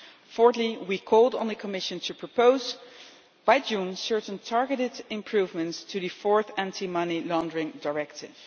Fourthly, we called on the Commission to propose, by June, certain targeted improvements to the Fourth Anti-Money Laundering Directive.